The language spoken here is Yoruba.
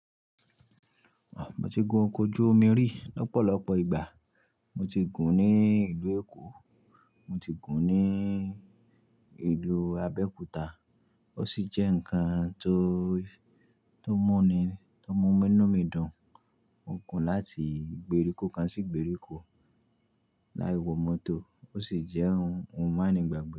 Mo ti gun ọkọ̀ ojú omi rí lọ́pọ̀lọpọ̀ ìgbà. Mo ti gùn ní ìlú Èkó, mo ti gùn ní ìlú Abẹ́òkúta. Ó sì jẹ́ ǹkan tó mú mi-- to mu inù midun. Mo gùn láti igbèrikò kán sí igbèrikò láì wọ mọ́tò, ó sì jẹ́ ohun ma nígbàgbe.